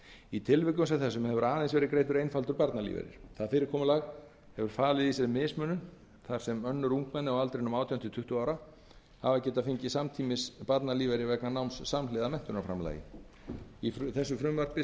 í tilvikum sem þessum hefur aðeins verið greiddur einfaldur barnalífeyrir þetta fyrirkomulag hefur falið í sér mismunun þar sem önnur ungmenni á aldrinum átján til tuttugu ára hafa getað fengið samtímis barnalífeyri vegna náms samhliða menntunarframlagi í frumvarpinu